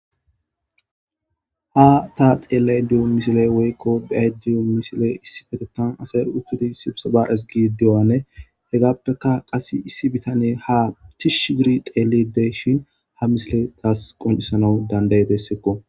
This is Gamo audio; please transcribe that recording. Ha ta xeellay diyo misile woykko biyay diyo misile issi betetan asay uttudi sibsa baares gi diwane hegappeka qas issi bitane ha tishsh giri xeelidey shin ha misile taas qoncisana danday dessekko.